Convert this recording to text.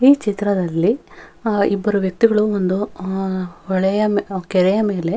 ಈ ಚಿತ್ರದಲ್ಲಿ ಆಹ್ಹ್ ಇಬ್ಬರು ವ್ಯಕ್ತಿಗಳು ಒಂದು ಆಹ್ಹ್ ಹೊಳೆಯ ಆಹ್ಹ್ ಕೆರೆಯ ಮೇಲೆ --